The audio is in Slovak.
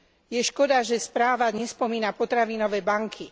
Je škoda, že správa nespomína potravinové banky.